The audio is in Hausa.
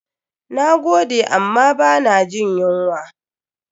Na gode amma ba na jin yunwa.